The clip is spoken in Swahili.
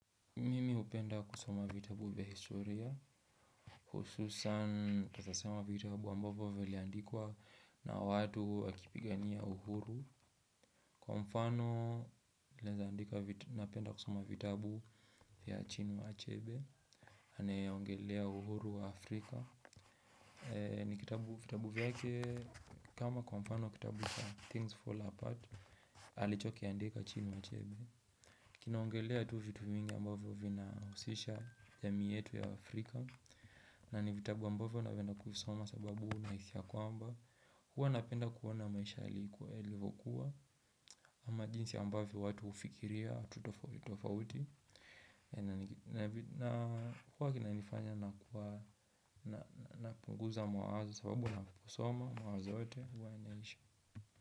Mimi upenda kusoma vitabu vya historia, hususan naweza soma vitabu ambavyo viliandikwa na watu wakipigania uhuru. Kwa mfano, napenda kusoma vitabu vya Chinua Chebe, aneye ongelea uhuru wa Afrika. Ni vitabu vyake, kama kwa mfano kitabu vya "Things Fall Apart" alichoki andika Chinua Chebe. Kinaongelea tu vitu mingi ambavyo vina husisha jamii yetu ya Afrika. Na ni vitabu ambavyo na penda kuvisoma sababu na hisi ya kwamba huwa napenda kuona maisha ya kuu yalivyokuwa. Ama jinsi ambavyo watu ufikiria watu tofauti tofauti. Huwaa kina nifanya na kuwa na punguza mawazo sababu na kuvisoma mawazo yote huwa yanaisha.